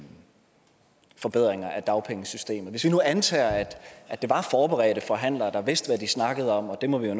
forbedringer af dagpengesystemet hvis vi nu antager at det var forberedte forhandlere der vidste hvad de snakkede om og det må vi